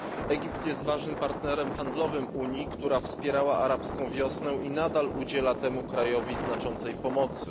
Egipt jest ważnym partnerem handlowym Unii, która wspierała arabską wiosnę i nadal udziela temu krajowi znaczącej pomocy.